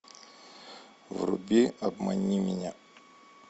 вруби обмани меня